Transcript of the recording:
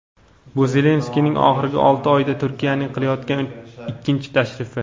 bu Zelenskiyning oxirgi olti oyda Turkiyaga qilayotgan ikkinchi tashrifi.